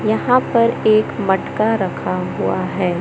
यहां पर एक मटका रखा हुआ है।